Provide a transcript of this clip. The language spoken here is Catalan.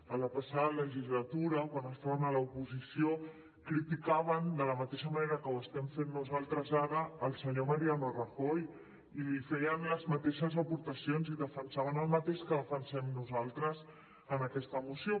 a la passada legislatura quan estaven a l’oposició criticaven de la mateixa manera que ho estem fent nosaltres ara el senyor mariano rajoy i li feien les mateixes aportacions i defensaven el mateix que defensem nosaltres en aquesta moció